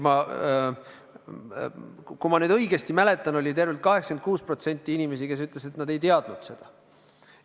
Kui ma õigesti mäletan, siis tervelt 86% inimesi ütles, et nad ei teadnud seda.